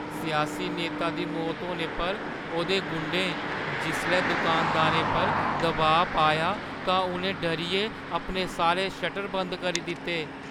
सियासी नेता दी मौत होने पर ओह्दे गुंडें जिसलै दुकानदारें पर दबाऽ पाया तां उʼनें डरियै अपने सारे शटर बंद करी दित्ते।